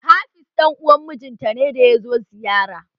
Hafiz dan uwan mijin ta ne da yazo ziyara